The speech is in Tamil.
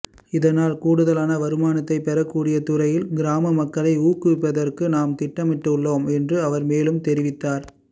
இதனால் கூடுதலான வருமானத்தை பெறக்கூடிய துறையில் கிராம மக்களை ஊக்குவிப்பதற்கு நாம் திட்டமிட்டுள்ளோம் என்றும் அவர் மேலும் தெரிவித்தார்